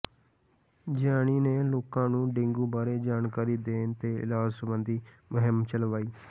ਜਿਆਣੀ ਨੇ ਲੋਕਾਂ ਨੂੰ ਡੇਂਗੂ ਬਾਰੇ ਜਾਣਕਾਰੀ ਦੇਣ ਤੇ ਇਲਾਜ ਸਬੰਧੀ ਮੁਹਿੰਮ ਚਲਾਈ